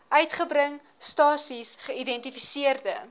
uitgebring stasies geïdentifiseerde